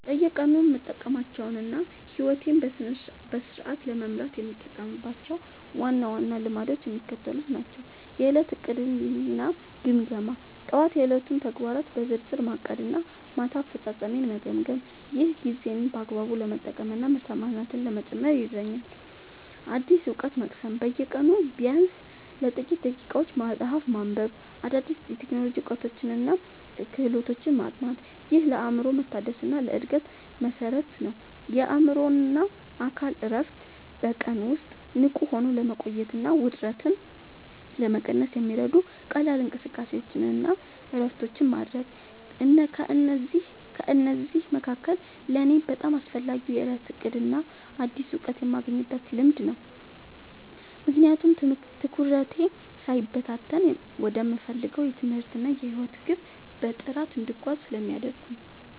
በየቀኑ የምጠብቃቸውና ሕይወቴን በስርዓት ለመምራት የምጠቀምባቸው ዋና ዋና ልማዶች የሚከተሉት ናቸው፦ የዕለት ዕቅድና ግምገማ፦ ጠዋት የዕለቱን ተግባራት በዝርዝር ማቀድና ማታ አፈጻጸሜን መገምገም። ይህ ጊዜን በአግባቡ ለመጠቀምና ምርታማነትን ለመጨመር ይረዳኛል። አዲስ እውቀት መቅሰም፦ በየቀኑ ቢያንስ ለጥቂት ደቂቃዎች መጽሐፍ ማንበብ፣ አዳዲስ የቴክኖሎጂ እውቀቶችንና ክህሎቶችን ማጥናት። ይህ ለአእምሮ መታደስና ለዕድገት መሠረት ነው። የአእምሮና አካል እረፍት፦ በቀን ውስጥ ንቁ ሆኖ ለመቆየትና ውጥረትን ለመቀነስ የሚረዱ ቀላል እንቅስቃሴዎችንና እረፍቶችን ማድረግ። ከእነዚህ መካከል ለእኔ በጣም አስፈላጊው የዕለት ዕቅድና አዲስ እውቀት የማግኘት ልማድ ነው፤ ምክንያቱም ትኩረቴ ሳይበታተን ወደምፈልገው የትምህርትና የሕይወት ግብ በጥራት እንድጓዝ ስለሚያደርጉኝ።